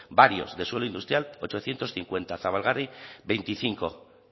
varios de suelo industrial ochocientos cincuenta zabalgarri veinticinco